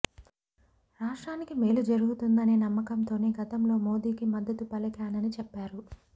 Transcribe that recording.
రాష్ట్రానికి మేలు జరుగుతుందనే నమ్మకంతోనే గతంలో మోదీకి మద్దతు పలికానని చెప్పారు